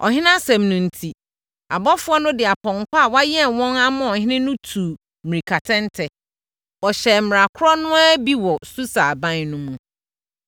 Ɔhene asɛm no enti, abɔfoɔ no de apɔnkɔ a wɔayɛn wɔn ama ɔhene no tuu mmirikatɛntɛ. Wɔhyɛɛ mmara korɔ no ara bi wɔ Susa aban no mu.